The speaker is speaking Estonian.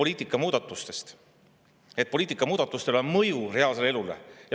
Teie ise räägite, et poliitika muudatustel on mõju reaalsele elule.